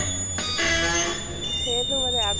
সেইটো মানে আ